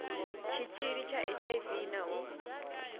tshitshili tsha hiv na u